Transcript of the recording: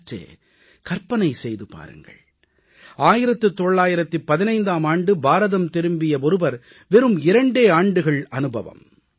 சற்றே கற்பனை செய்து பாருங்கள் 1915ஆம் ஆண்டு பாரதம் திரும்பிய ஒருவர் வெறும் இரண்டே ஆண்டுகள் அனுபவம்